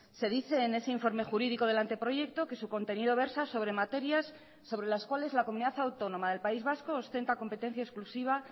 se dice en ese informe jurídico del anteproyecto que su contenido versa sobre materias sobre las cuales la comunidad autónoma del país vasco ostenta competencia exclusiva